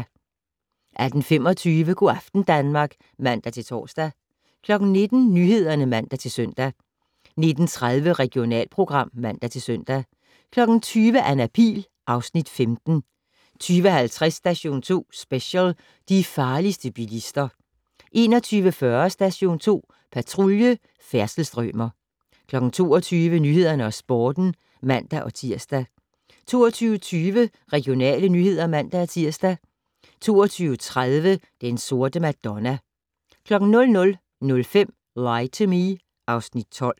18:25: Go' aften Danmark (man-tor) 19:00: Nyhederne (man-søn) 19:30: Regionalprogram (man-søn) 20:00: Anna Pihl (Afs. 15) 20:50: Station 2 Special: De farligste bilister 21:40: Station 2 Patrulje: Færdselsstrømer 22:00: Nyhederne og Sporten (man-tir) 22:20: Regionale nyheder (man-tir) 22:30: Den Sorte Madonna 00:05: Lie to Me (Afs. 12)